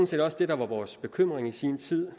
set også det der var vores bekymring i sin tid